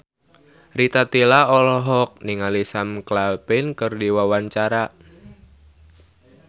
Rita Tila olohok ningali Sam Claflin keur diwawancara